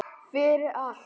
Fyrir allt.